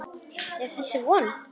Er þess von?